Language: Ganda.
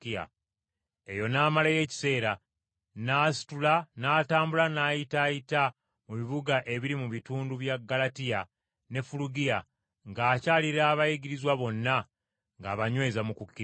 Eyo n’amalayo ekiseera, n’asitula n’atambula n’ayitaayita mu bibuga ebiri mu bitundu bya Ggalatiya ne Fulugiya, ng’akyalira abayigirizwa bonna ng’abanyweza mu kukkiriza.